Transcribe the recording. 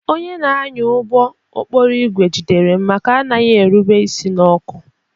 Onye na-anya ụgbọ okporo ígwè jidere m maka anaghị erube isi n'ọkụ